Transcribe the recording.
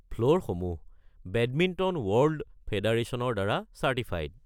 ফ্ল'ৰসমূহ badminton world ফে'ডাৰচনৰ দ্বাৰা certified.